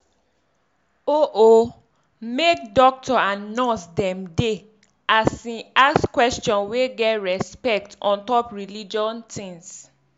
oh oh make dokto and nurse dem dey as in ask question wey get respect ontop religion tins.